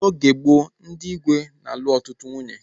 N'oge gboo, ndị igwe na-alu ọtụtụ nwunye